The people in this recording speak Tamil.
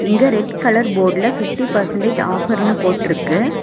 இங்க ரெட் கலர் போர்டுல பிப்டி பெர்ஸன்டேஜ் ஆஃபர்னு போட்ருக்கு.